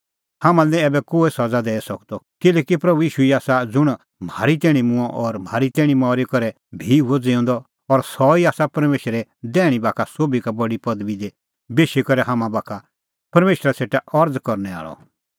हाम्हां लै निं ऐबै कोहै सज़ा दैई सकदअ किल्हैकि ईशू ई आसा ज़ुंण म्हारी तैणीं मूंअ और म्हारी तैणीं मरी करै भी हुअ ज़िऊंदअ और सह ई आसा परमेशरे दैहणीं बाखा सोभी का बडी पदबी दी बेशी करै हाम्हां बाखा परमेशरा सेटा अरज़ करनै आल़अ